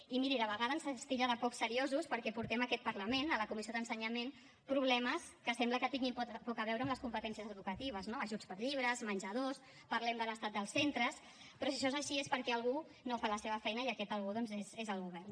i miri de vegades se’ns titlla de poc seriosos perquè portem a aquest parlament a la comissió d’ensenyament problemes que sembla que tinguin poc a veure amb les competències educatives no ajuts per a llibres menjadors parlem de l’estat dels centres però si això és així és perquè algú no fa la seva feina i aquest algú doncs és el govern